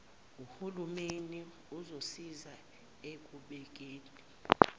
hulumeni uzosiza ekubekeni